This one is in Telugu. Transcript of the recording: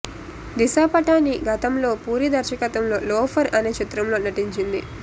దిశా పటాని గతంలో పూరి దర్శత్వంలో లోఫర్ అనే చిత్రంలో నటించింది